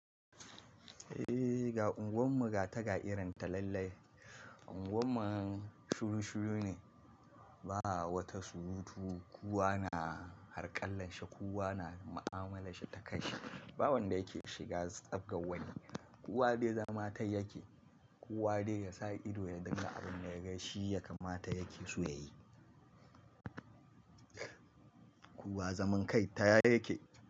Eh, ga unguwarmu ga ta ƙa'idarta lallai. Unguwar mu shuru shuru ne, ba wata surutu. Kowa na harƙallan shi, kowa na ma'amala shi ta kan shi. Ba wanda yake shiga tsab gawani. Kowa dai zaman ta yake, kowa dai ya sa ido ya dinga abin da ya gai shi ya kamata yake su yayi. Kowa zaman kai ta ya yake.